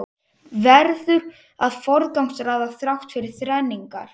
Verður að forgangsraða þrátt fyrir þrengingar